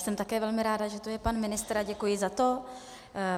Jsem také velmi ráda, že tu je pan ministr, a děkuji za to.